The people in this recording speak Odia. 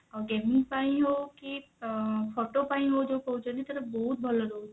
ଆଉ gaming ପାଇଁ ହଉ କି ଅ photo ପାଇଁ ହଉ ଯଉ କହୁଛନ୍ତି ତାର ବହୁତ ଭଲ ରହୁଛି